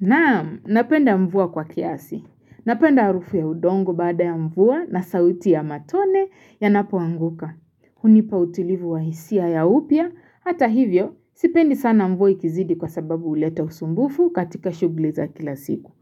Na'am, napenda mvua kwa kiasi. Napenda harufu ya udongo baada ya mvua na sauti ya matone yanapoanguka. Hunipa utilivu wa hisia ya upya. Hata hivyo, sipendi sana mvua ikizidi kwa sababu huleta usumbufu katika shughuli za kila siku.